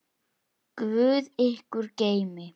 Guð ykkur geymi.